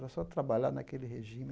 Era só trabalhar naquele regime.